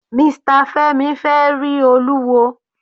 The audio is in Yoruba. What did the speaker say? Mr Femi fẹ rí Olúwo.